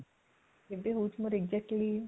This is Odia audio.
କେବେ ହୋଉଛି ମୋର exactly